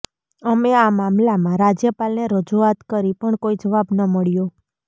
અમે આ મામલામાં રાજ્યપાલને રજૂઆત કરી પણ કોઈ જવાબ ન મળ્યો